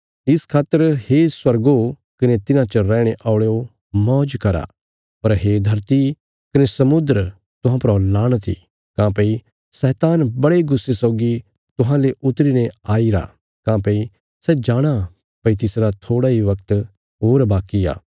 इस खातर हे स्वर्गो कने तिन्हां च रैहणे औल़यो मौज करा पर हे धरती कने समुद्र तुहां परा लाणत इ काँह्भई शैतान बड़े गुस्से सौगी तुहांले उतरी ने आईरा काँह्भई सै जाणाँ भई तिसरा थोड़ा इ बगत होर बाकी आ